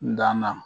N danna